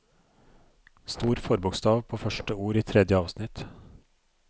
Stor forbokstav på første ord i tredje avsnitt